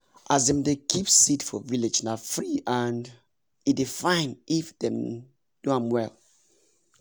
as dem dey keep seed for village na free and e dey fine if dem do m well